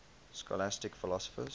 scholastic philosophers